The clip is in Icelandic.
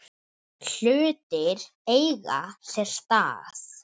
Hlutir eiga sér stað.